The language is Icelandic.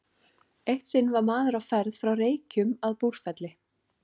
Eitt sinn var maður á ferð frá Reykjum að Búrfelli.